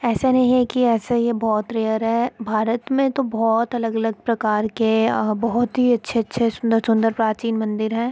ऐसा नहीं है की ऐसे यह बहुत रेयर है भारत मे तो बहुत अलग-अलग प्रकार के बहुत ही अच्छे-अच्छे सुंदर-सुंदर प्राचीन मंदिर है।